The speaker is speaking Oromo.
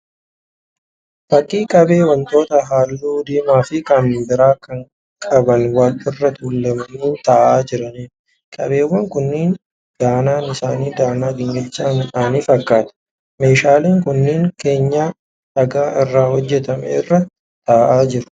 Fakkii qabee wantoota halluu diimaa fi kan biraa qaban wal irra tuulamanii taa'aa jiraniidha. Qabeewwan kunneen danaan isaanii danaa gingilchaa midhaanii fakkaata. Meeshaaleen kunneen keenyan dhagaa irraa hojjetame irra taa'aa jiru.